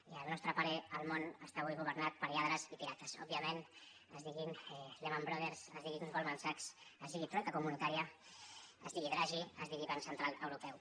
i al nostre parer el món està avui governat per lladres i pirates òbviament es diguin lehman brothers es diguin golman sachs es digui troica comunitària es digui dragui es digui banc central europeu